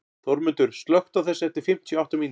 Þórmundur, slökktu á þessu eftir fimmtíu og átta mínútur.